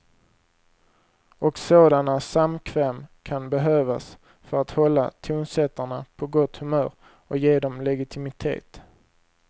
Och sådana samkväm kan behövas för att hålla tonsättarna på gott humör och ge dem legitimitet.